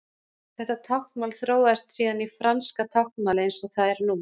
Þetta táknmál þróaðist síðan í franska táknmálið eins og það er nú.